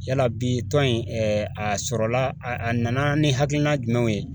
Yala bi tɔn in a sɔrɔla a a nana ni hakilina jumɛn ye?